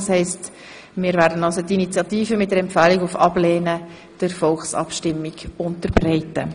Das heisst, wir werden die Initiative mit Empfehlung auf Ablehnung der Volksabstimmung unterbreiten.